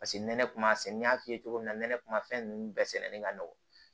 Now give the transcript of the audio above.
Paseke nɛnɛ kun b'a sɛnɛ n y'a f'i ye cogo min na nɛnɛ kuma fɛn nunnu bɛɛ sɛnɛni ka nɔgɔ